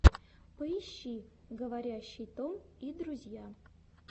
поищи говорящий том и друзья